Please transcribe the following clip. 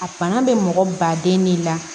A bana bɛ mɔgɔ baden ne la